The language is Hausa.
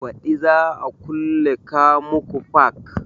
Baɗi za a kulle kamuku fark